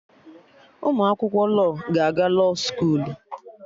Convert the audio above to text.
Ụmụ akwụkwọ lọọ ga na-aga lọọ skoolu